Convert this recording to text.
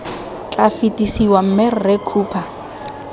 tla fetisiwa mme rre cooper